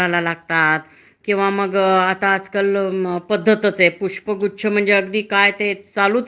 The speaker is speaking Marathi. त्या धंद्यातसुद्धा किवा त्या ह्याच्याम्ध्ये जाऊन एखाद्यानी नोकरी केली तरीसुद्धा वाव खूप हे.